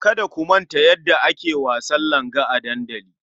Kada ku manta yadda ake wasan langa a dandali.